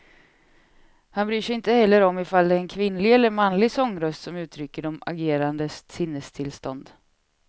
Han bryr sig inte heller om ifall det är en kvinnlig eller manlig sångröst som uttrycker de agerandes sinnestillstånd.